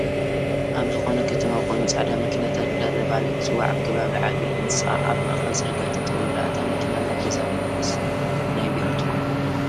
ኣብ ዝከነ ከተማ ኮይኑ ፃዕዳ መኪና ቲታ እደተበሃለ ትፅዋዕ ኣብ ከባቢ ዓብይ ህንፃ ኣብ መእከል ፅርግያ ጠጠው ኢላ እታ መኪና ናይ ገዛዶ ወይስ ናይ ቤሮ ትኮን?